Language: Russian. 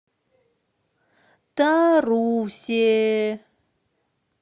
тарусе